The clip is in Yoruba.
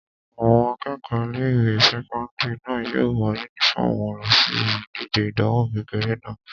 Àwọn akẹ́kọ̀ọ́ ilé-ìwé sẹ́kọ́ndìrì náà yóò wọ yúnífọ́ọ̀mù wọn lọ síbi ìdíje ìdánwò kékeré náà